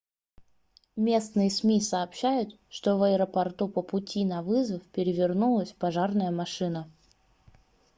местные сми сообщают что в аэропорту по пути на вызов перевернулась пожарная машина